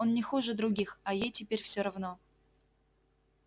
он не хуже других а ей теперь всё равно